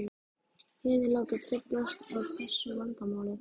Hinir láta truflast af þessu vandamáli.